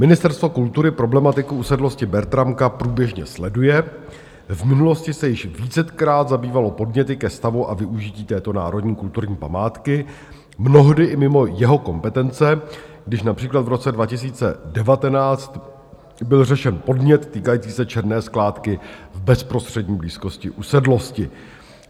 Ministerstvo kultury problematiku usedlosti Bertramka průběžně sleduje, v minulosti se již vícekrát zabývalo podněty ke stavu a využití této národní kulturní památky, mnohdy i mimo jeho kompetence, když například v roce 2019 byl řešen podnět týkající se černé skládky v bezprostřední blízkosti usedlosti.